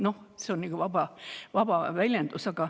No see on selline vaba väljendus.